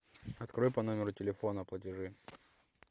открой по номеру телефона платежи